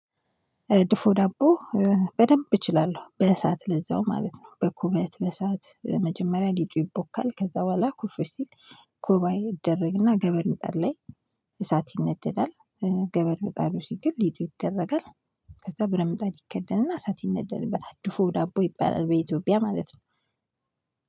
ድፎ ዳቦ። በደንብ እችላለሁ በእሳት ለዛውም ማለት ነው። በኩበት በእሳት መጀመሪያ ሊጡ ይቦካል ከዛ በኋላ ኩፍ ሲል። ኩባይ ይደረግና ገበር ምጣር ላይ እሳት ይነደዳል። ገበር ምጣዱ ሲገል ሊጡ ይደረጋል። ከዛ ብረት ምጣድ ይከደንና እሳት ይነደድበታል ድፎ ዳቦ ይባላል በኢትዮጵያ ማለት ነው።